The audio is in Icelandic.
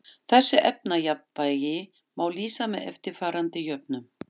Þessu efnajafnvægi má lýsa með eftirfarandi jöfnum